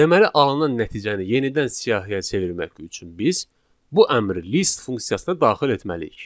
Deməli alınan nəticəni yenidən siyahıya çevirmək üçün biz bu əmri list funksiyasına daxil etməliyik.